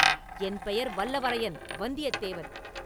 என் பெயர் வல்லவரையன் வந்தியத்தேவன்!